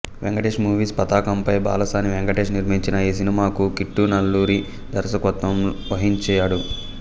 Venkatesh movies పతాకంపై బాలసాని వెంకటేష్ నిర్మించిన ఈ సినిమాకు కిట్టు నల్లూరి దర్శకత్వం వహించాడు